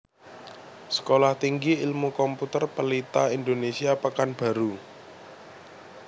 Sekolah Tinggi Ilmu Komputer Pelita Indonesia Pekanbaru